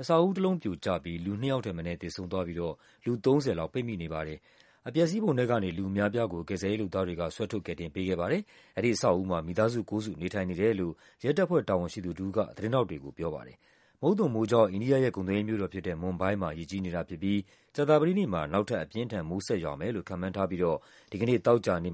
အဆောက်အဦးတလုံးပြိုကျပြီး လူ ၂ ယောက်ထက် မနည်းသေဆုံးသွားပြီးတော့ လူ ၃၀ လောက် ပိတ်မိနေပါတယ်။ အပျက်အစီးပုံထဲကနေ လူအများအပြားကို ကယ်ဆယ်ရေးလုပ်သားတွေက ဆွဲထုတ်ကယ်တင်ပေးခဲ့ပါတယ်။ အဲဒီအဆောက် အဦးမှာ မိသားစုကိုးစု နေထိုင်နေတယ်လို့ ရဲတပ်ဖွဲ့တာဝန်ရှိသူတဦးက သတင်းထောက်တွေကိုပြောပါတယ်။ မုတ်သုန်မိုးကြောင့် အိန္ဒိယရဲ့ ကုန်သွယ်ရေးမြို့တော်ဖြစ်တဲ့ မွမ်ဘိုင်းမှာ ရေကြီးနေတာဖြစ်ပြီး ကြာသပတေးနေ့မှာ နောက်ထပ် အပြင်းအထန် မိုးဆက်ရွာမယ်လို့ ခန့်မှန်းထားပြီးတော့ ဒီကနေ့ သောကြာနေ့